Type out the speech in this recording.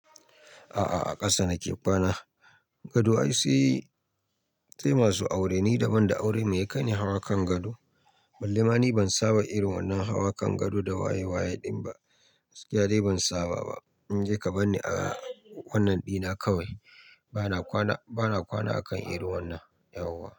A'a a ƙasa nake kwana. Gado ai sai sai masu aure ni daban da aure mai ya kaini hawa kan gado. Ballema ni ban saba irin wannan hawa kan gado da waye waye din ba. Gaskiya dai ban saba ba. Ni dai ka bar ni a wannan dina kawai. Bana kwana akan irin wannan, yawwa.